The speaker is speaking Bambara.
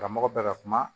Karamɔgɔ bɛɛ ka kuma